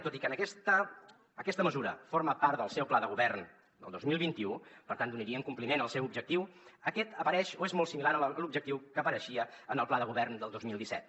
tot i que aquesta mesura forma part del seu pla de govern del dos mil vint u per tant donarien compliment al seu objectiu aquest apareix o és molt similar a l’objectiu que apareixia en el pla de govern del dos mil disset